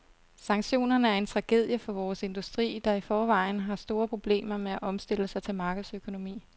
Sanktionerne er en tragedie for vores industri, der i forvejen har store problemer med at omstille sig til markedsøkonomi.